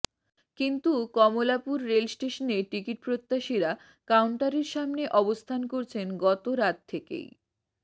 কিন্তু কমলাপুর রেল স্টেশনে টিকিটপ্রত্যাশীরা কাউন্টারের সামনে অবস্থান করছেন গতরাত থেকেই